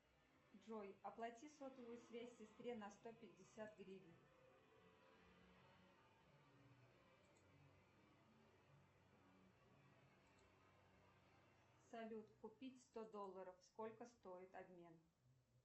джой оплати сотовую связь сестре на сто пятьдесят гривен салют купить сто долларов сколько стоит обмен